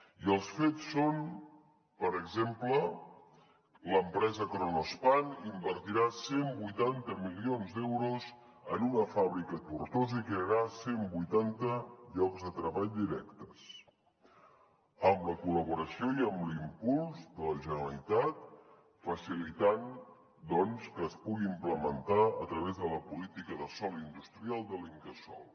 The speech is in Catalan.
i els fets són per exemple que l’empresa kronospan invertirà cent i vuitanta milions d’euros en una fàbrica a tortosa i crearà cent vuitanta llocs de treball directes amb la col·laboració i amb l’impuls de la generalitat facilitant doncs que es pugui implementar a través de la política de sòl industrial de l’incasòl